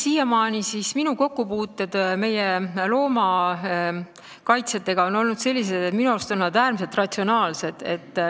Siiamaani on minu kokkupuuted meie loomakaitsjatega olnud sellised, et minu arust on nad äärmiselt ratsionaalsed.